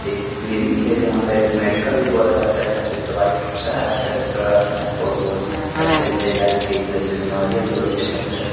एक क्लीनिक है जहाँ पे आज मेडिकल भी बोला जाता है यहाँ पर दवाई मिलता है अच्छा डॉक्टर आता है और अच्छे-अच्छे इलाज के लिए अच्छे बीमारियां भी होते है यहाँ पर --